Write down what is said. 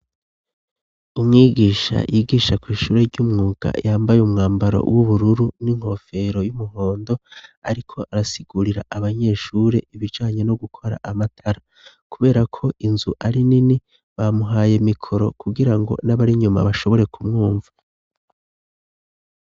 Umwigisha yigisha kw'ishure ry'umwuga yambaye umwambaro w'ubururu n'inkofero y'umuhondo ariko arasigurira abanyeshuri ibijanye no gukora amatara, kuberako inzu ari nini bamuhaye mikoro kugirango n'abari nyuma bashobore kumwumva.